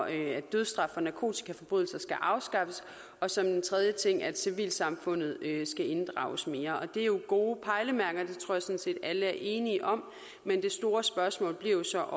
at dødsstraf for narkotikaforbrydelser skal afskaffes og som en tredje ting at civilsamfundet skal inddrages mere og det er jo gode pejlemærker det tror set alle er enige om men det store spørgsmål bliver så